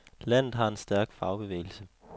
Landet har en stærk fagbevægelse.